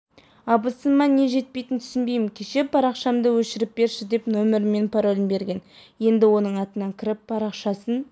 абысыныма не жетпейтінін түсінбеймін кеше парақшамдыөшіріп берші деп нөмірімен паролін берген енді оның атынан кіріп парақшасын